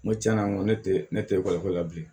N ko tiɲɛna n ko ne tɛ ne tɛ ko la bilen